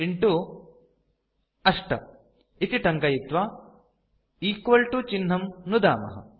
5 8 इति टङ्कयित्वा चिह्नं नुदामः